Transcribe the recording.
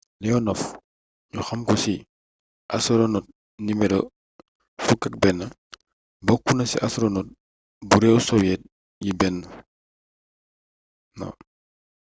leonov ñu xamko ci ‘’astoronot no. 11’’ bokkuna ci astoronot bu réew soviet yi benno